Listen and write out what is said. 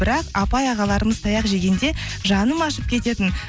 бірақ апай ағаларымыз таяқ жегенде жаным ашып кететін